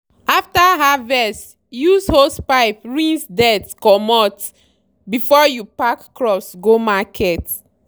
after harvest use hosepipe rinse dirt comot before you pack crops go market.